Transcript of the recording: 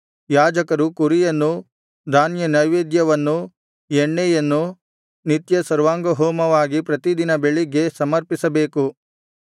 ಯಾಜಕರು ಕುರಿಯನ್ನೂ ಧಾನ್ಯನೈವೇದ್ಯವನ್ನೂ ಎಣ್ಣೆಯನ್ನೂ ನಿತ್ಯ ಸರ್ವಾಂಗಹೋಮವಾಗಿ ಪ್ರತಿ ದಿನ ಬೆಳಗ್ಗೆ ಸಮರ್ಪಿಸಬೇಕು